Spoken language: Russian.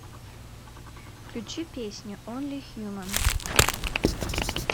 включи песню онли хьюман